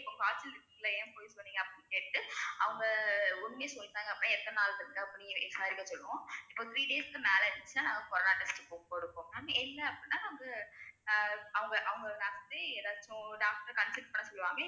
காய்ச்சல் இருக்குல்ல ஏன் பொய் சொன்னிங்க அப்டினு கேட்டுட்டு அவங்க உண்மையா சொல்லிட்டாங்க அப்டினா எத்தனை நாள் இருக்கு அப்படினு சொல்லுவோம் இப்ப three days க்கு மேல இருந்துச்சுன்னா நாங்க corona test க்கு கொடுப்போம் ma'am இல்ல அப்படினா வந்து ஆ அவங்க அவங்க doc~ doctor அ ஏதாச்சும் doctor consult பண்ண சொல்லுவாங்க